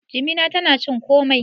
jimina tana cin komai